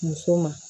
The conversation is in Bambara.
Muso ma